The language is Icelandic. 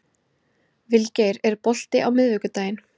Vilgeir, er bolti á miðvikudaginn?